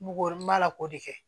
Ngo ma la k'o de kɛ